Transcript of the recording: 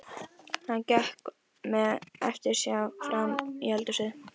Hann gekk með eftirsjá frammí eldhúsið.